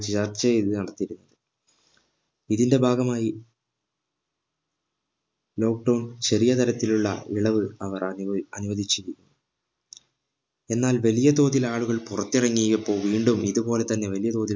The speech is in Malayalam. ചർച്ച ചെയ്ത് നടത്തിയിരുന്നു ഇതിന്റെ ഭാഗമായി lockdown ചെറിയ തരത്തിലുള്ള ഇളവ് അവർ അനുവദി അനുവദിച്ചിരുന്നു എന്നാൽ വലിയ തോതിൽ ആളുകൾ പുറത്തിറങ്ങിയപ്പോൾ വീണ്ടും ഇതു പോലെ തന്നെ വലിയ തോതിൽ